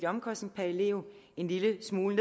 omkostning per elev en lille smule